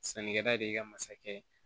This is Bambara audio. Sannikɛla de ka masakɛ ye